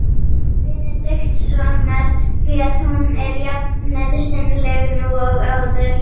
Benediktssonar, því að hún er jafnnauðsynleg nú og áður.